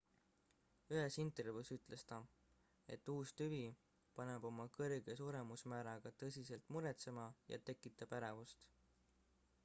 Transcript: ühes intervjuus ütles ta et uus tüvi paneb oma kõrge suremusmääraga tõsiselt muretsema ja tekitab ärevust